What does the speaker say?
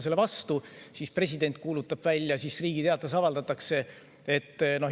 Seejärel president kuulutab selle välja ja see avaldatakse Riigi Teatajas.